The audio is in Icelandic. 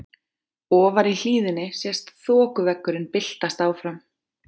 Ofar í hlíðinni sést þokuveggurinn byltast áfram.